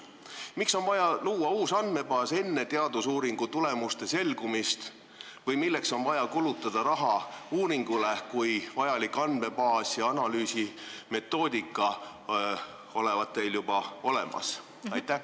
Miks on vaja luua uus andmebaas enne teadusuuringu tulemuste selgumist või miks on vaja kulutada raha uuringule, kui vajalik andmebaas ja analüüsi metoodika olevat teil juba olemas?